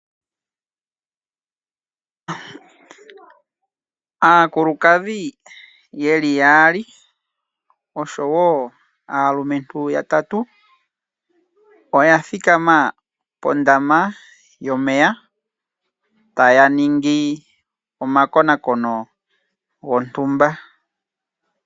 Aakulukadhi yeli yaali oshowo aalumentu yatatu oya thikama pondama yomeya taya ningi omakonaakono gontumba.